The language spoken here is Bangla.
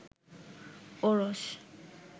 ওরস